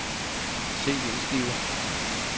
CD-skive